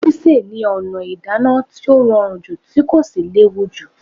Sísè ni ọ̀nà ìdáná tí ó rọrùn jù tí kò sì léwù jù.